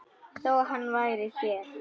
Þó hann væri hér.